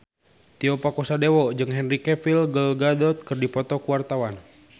Tio Pakusadewo jeung Henry Cavill Gal Gadot keur dipoto ku wartawan